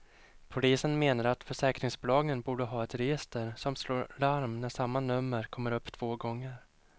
Polisen menar att försäkringsbolagen borde ha ett register som slår larm när samma nummer kommer upp två gånger.